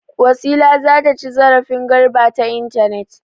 Wasila za ta ci zarafin Garba ta intanet.